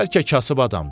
Bəlkə kasıb adamdır.